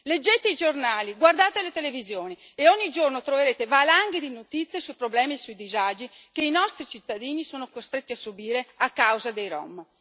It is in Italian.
Leggete i giornali, guardate le televisioni, e ogni giorno troverete valanghe di notizie sui problemi e sui disagi che i nostri cittadini sono costretti a subire a causa dei rom.